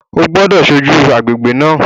O gbọ́dọ̀ ṣojú agbègbè náà